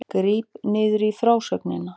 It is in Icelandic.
Gríp niður í frásögninni